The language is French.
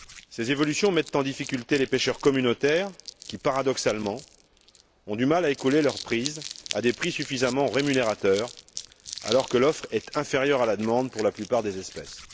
Ces évolutions mettent en difficulté les pêcheurs communautaires qui, paradoxalement, ont du mal à écouler leurs prises à des prix suffisamment rémunérateurs, alors que l'offre est inférieure à la demande pour la plupart des espèces.